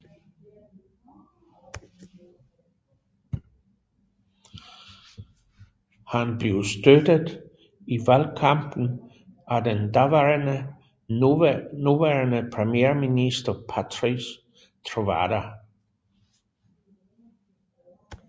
Han blev støttet i valgkampen af den daværende nuværende premierminister Patrice Trovoada